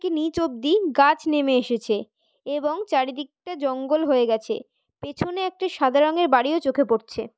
কি নিচ অব্দি গাছ নেমে এসেছে এবং চারিদিকটা জঙ্গল হয়ে গেছে পেছনে একটি সাদা রঙের বাড়িও চোখে পড়ছে।